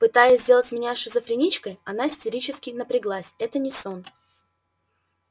пытаясь сделать меня шизофреничкой она истерически напряглась это не сон